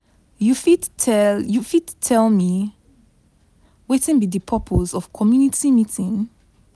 you fit tell you fit tell me wetin be di purpose of community meeting?